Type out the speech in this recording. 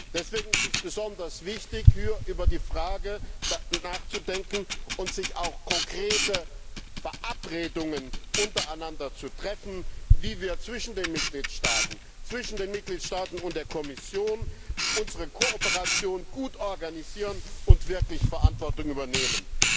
Deswegen ist es besonders wichtig, über die Frage nachzudenken und auch konkrete Verabredungen untereinander zu treffen, wie wir zwischen den Mitgliedstaaten sowie zwischen den Mitgliedstaaten und der Kommission unsere Kooperation gut organisieren und wirklich Verantwortung übernehmen.